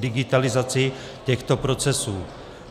digitalizaci těchto procesů.